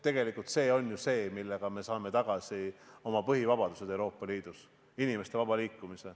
Tegelikult see on ju see, millega me saame tagasi oma põhivabadused Euroopa Liidus, inimeste vaba liikumise.